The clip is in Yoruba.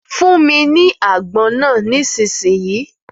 Fún mi ni àgbọn náà nísinsìnyí.